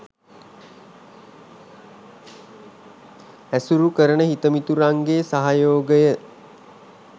ඇසුරු කරන හිතමිතුරන්ගේ සහයෝගය